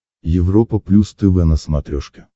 европа плюс тв на смотрешке